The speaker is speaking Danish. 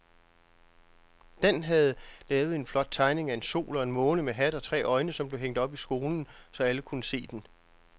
Dan havde lavet en flot tegning af en sol og en måne med hat og tre øjne, som blev hængt op i skolen, så alle kunne se den.